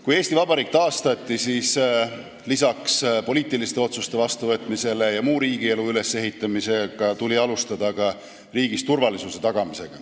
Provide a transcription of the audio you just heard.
Kui Eesti Vabariik taastati, siis tuli peale poliitiliste otsuste vastuvõtmise ja muul moel riigielu ülesehitamise alustada ka riigis turvalisuse tagamist.